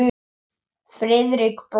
Friðrik brosti.